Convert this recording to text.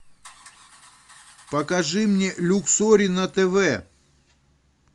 покажи мне люксори на тв